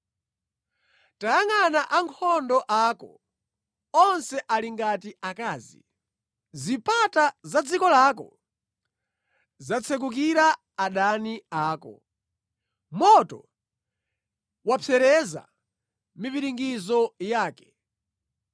Tayangʼana ankhondo ako, onse ali ngati akazi! Zipata za dziko lako zatsekukira adani ako; moto wapsereza mipiringidzo yake.